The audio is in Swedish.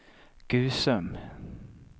Gusum